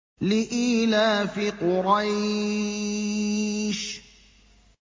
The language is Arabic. لِإِيلَافِ قُرَيْشٍ